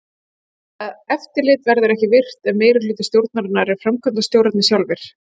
Það eftirlit verður ekki virkt ef meirihluti stjórnarinnar eru framkvæmdastjórarnir sjálfir.